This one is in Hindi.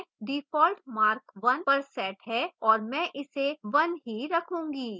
default mark 1 पर set है और मैं इसे 1 ही रखू्ंगी